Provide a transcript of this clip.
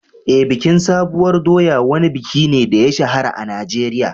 Eh, bikin sabuwar doya wani buki ne da ya shahara a Najeriya.